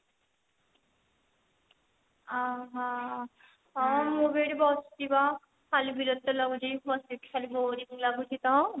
ଓ ହୋ ମୁଁ ବି ଏଠି ବସିଛି ବା ଖାଲି ବିରକ୍ତି ଲାଗୁଛି ବସିକି ଖାଲି boring ଲାଗୁଛି ତ